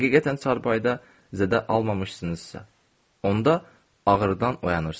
Həqiqətən çarpayıda zədə almamışsınızsa, onda ağrıdan oyanırsınız.